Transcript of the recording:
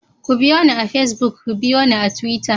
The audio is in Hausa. Ku biyo ni a pacebuk, ku biyo ni a Twitter.